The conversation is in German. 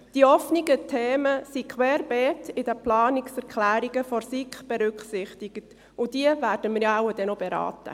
Die offenen Themen sind querbeet in den Planungserklärungen der SiK berücksichtigt, und diese werden wir dann wohl noch beraten.